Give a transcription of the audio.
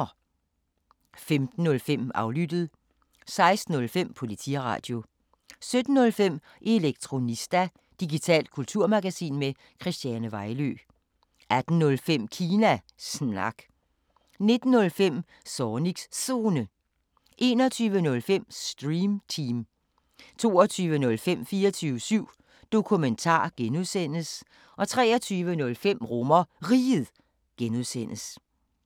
15:05: Aflyttet 16:05: Politiradio 17:05: Elektronista – digitalt kulturmagasin med Christiane Vejlø 18:05: Kina Snak 19:05: Zornigs Zone 21:05: Stream Team 22:05: 24syv Dokumentar (G) 23:05: RomerRiget (G)